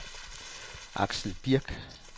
Axel Birk